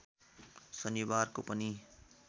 शनिबारको पनि